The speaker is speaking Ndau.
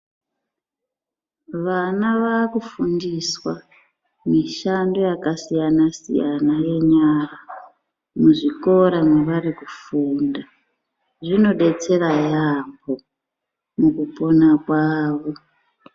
Vana vavakufundiswa mishando yakasiyana siyana yenyara muzvikora mavarii kufunda zvinodetsera yamho mukupona kwavo.